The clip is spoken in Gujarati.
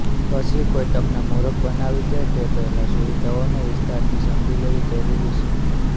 પછી કોઈ તમને મુરખ બનાવી જાય તે પહેલા સુવિધાઓને વિસ્તારથી સમજી લેવી જરુરી છે